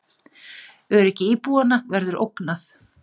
Öryggi íbúanna verður ógnað